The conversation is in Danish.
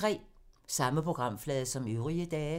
Samme programflade som øvrige dage